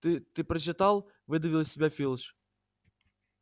ты ты прочитал выдавил из себя филч